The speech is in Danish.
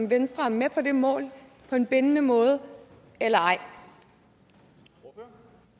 venstre er med på det mål på en bindende måde eller ej